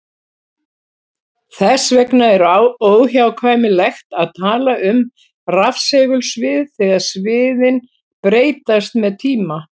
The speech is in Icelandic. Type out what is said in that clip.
Þess vegna er óhjákvæmilegt að tala um rafsegulsvið þegar sviðin breytast með tíma.